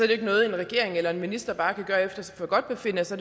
jo ikke noget en regering eller en minister bare kan gøre efter sit forgodtbefindende så